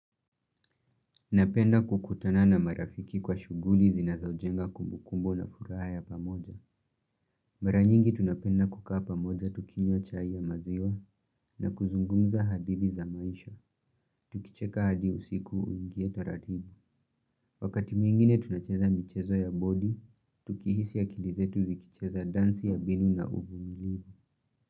Napenda kukutana na marafiki kwa shuguli zinazo jenga kumbukumbu la furaha ya pamoja. Mara nyingi tunapenda kukaa pamoja tukinywa chai ya maziwa na kuzungumza hadithi za maisha. Tukicheka hadi usiku uingie taratibu. Wakati mwingine tunacheza mchezo ya bodi, tukihisi ya akili zetu zikicheza dansi ya binu na uvumilivu.